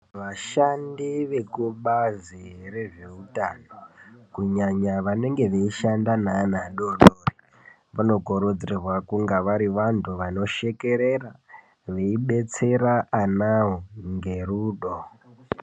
Vashandi vekubazi rezvehutano kunyanya vanenge veishanda nevana vadodori. Vano kurudzirwa kunga varivantu vano shekerera veibetsera anavo ngerudo.